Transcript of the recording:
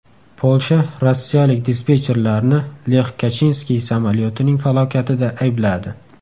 Polsha rossiyalik dispetcherlarni Lex Kachinskiy samolyotining falokatida aybladi.